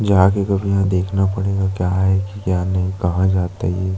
जाके कभी यहाँ देखना पड़ेगा क्या है की क्या नहीं है कहाँ जाते है ये--